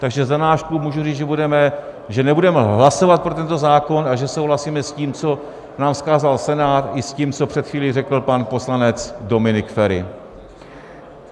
Takže za náš klub můžu říct, že nebudeme hlasovat pro tento zákon a že souhlasíme s tím, co nám vzkázal Senát, i s tím, co před chvílí řekl pan poslanec Dominik Feri.